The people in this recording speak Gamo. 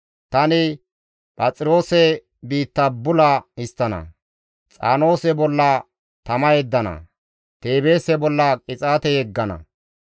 Tani Phaxiroose biitta bula histtana; Xaanoose bolla tama yeddana; Teebeese bolla qixaate yeggana.